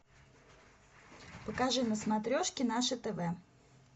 покажи на смотрешке наше тв